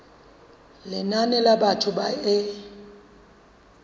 lenane la batho ba e